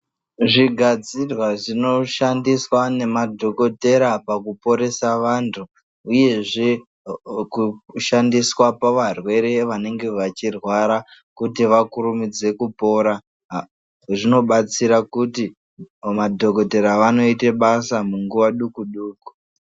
Zvigadzirwa zvinoshandiswa nemadhogodhera pakuporesa vantu uyezve kushandiswa pavarwere vanenge vachirwara kuti vakurumidze kupora zvinobatsira kuti madhogodheya vanoite basa munguva duku duku.